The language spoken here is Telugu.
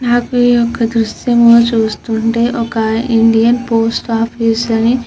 నాకు ఈ యొక్క దృశ్యం చూస్తుంటే ఒక ఇండియన్ పోస్ట్ ఆఫీస్ అని --